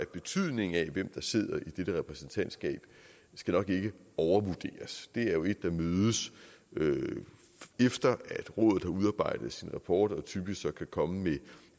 betydningen af hvem der sidder i dette repræsentantskab nok ikke overvurderes det er jo et der mødes efter at rådet har udarbejdet sin rapport og typisk så kan komme